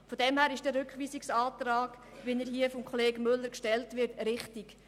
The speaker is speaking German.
Insofern ist der Rückweisungsantrag, wie er von Kollege Müller gestellt wird, richtig.